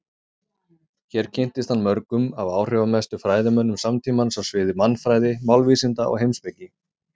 Hér kynntist hann mörgum af áhrifamestu fræðimönnum samtímans á sviði mannfræði, málvísinda og heimspeki.